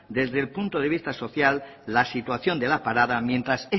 desde el punto de vista social la situación de la parada mientras